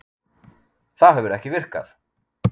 Það hefur ekki virkað